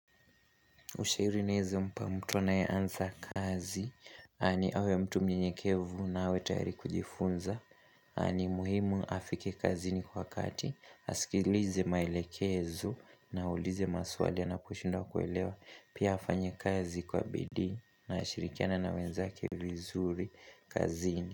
Ushauri nezo mpa mtu anaeanza kazi, ani awe mtu mnyenyekevu na awe tayari kujifunza, ani muhimu afike kazi ni kwa kati, asikilize mailekezo na ulize maswali anaposhindwa kuelewa, pia afanya kazi kwa bidii na ashirikiane na wenza kevizuri kazi ni.